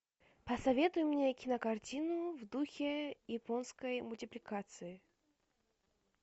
посоветуй мне кинокартину в духе японской мультипликации